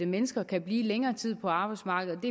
mennesker kan blive længere tid på arbejdsmarkedet